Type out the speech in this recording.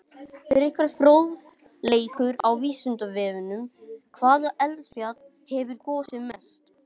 Frekari fróðleikur á Vísindavefnum: Hvaða eldfjall hefur gosið mest?